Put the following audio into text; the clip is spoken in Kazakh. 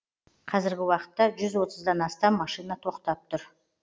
қазіргі уақытта жүз отыздан астам машина тоқтап тұр